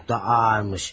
Ah, çox da ağırmış.